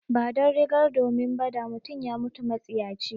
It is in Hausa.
Ba don rigar domin ba, da mutum ya mutu matsiyaci.